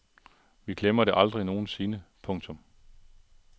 Vi glemmer det aldrig nogen sinde. punktum